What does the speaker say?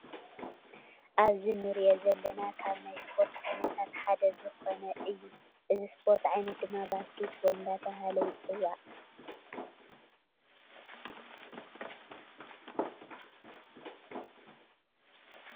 አብዚ እንርእዮ ዘለና ካብ ናይ ስፖርት ዓይነታት ሓደ ዝኮነ እዮ ። እዚ ሰፖርት ዓይነት ድማ ባሰኬት ቦል እንዳተበሃለ ይፅዋዕ ።